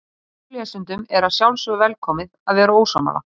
Ykkur lesendum er að sjálfsögðu velkomið að vera ósammála.